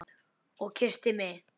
Og kyssti mig.